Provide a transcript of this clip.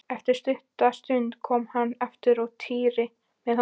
Eftir stutta stund kom hann aftur og Týri með honum.